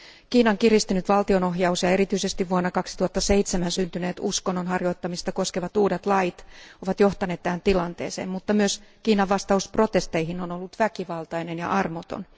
Kiinan kiristynyt valtionohjaus ja erityisesti vuonna 2007 syntyneet uskonnonharjoittamista koskevat uudet lait ovat johtaneet tähän tilanteeseen, mutta myös Kiinan vastaus protesteihin on ollut väkivaltainen ja armoton.